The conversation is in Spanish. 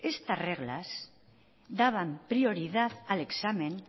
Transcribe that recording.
estas reglas daban prioridad al examen